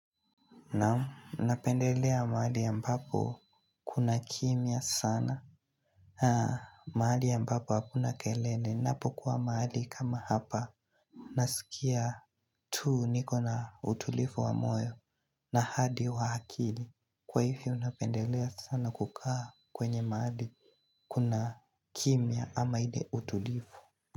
Naam, napendelea mahali ambapo kuna kimya sana. Haa, mahali ambapo hakuna kelele. Napokuwa mahali kama hapa. Nasikia tu niko na utulivu wa moyo na hadi wa akili. Kwa hivyo napendelea sana kukaa kwenye mahali kuna kimya ama ile utulivu.